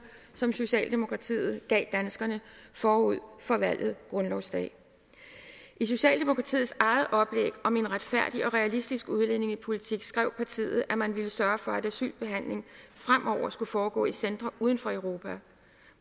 som socialdemokratiet gav danskerne forud for valget grundlovsdag i socialdemokratiets eget oplæg om en retfærdig og realistisk udlændingepolitik skrev partiet at man ville sørge for at asylbehandling fremover skulle foregå i centre uden for europa